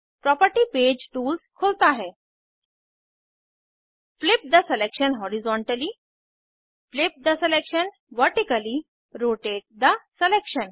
property page tools रखता है flip the selection horizontally flip the selection vertically rotate the selection